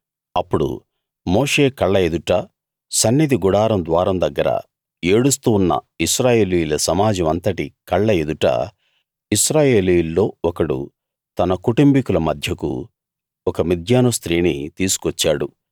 అప్పుడు మోషే కళ్ళ ఎదుట సన్నిధి గుడారం ద్వారం దగ్గర ఏడుస్తూ ఉన్న ఇశ్రాయేలీయుల సమాజం అంతటి కళ్ళ ఎదుట ఇశ్రాయేలీయుల్లో ఒకడు తన కుటుంబికుల మధ్యకు ఒక మిద్యాను స్త్రీని తీసుకొచ్చాడు